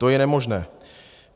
To je nemožné.